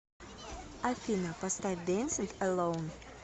афина поставь дэнсинг элоун